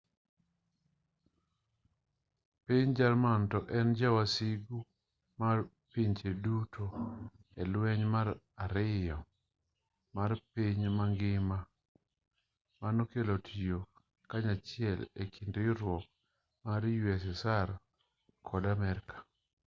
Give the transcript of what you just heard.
piny jerman ne en ja wasigu mar pinje duto e lweny mar 2 mar piny mangima manokelo tiyo kanyachiel e kind riwruok mar ussr kod amerka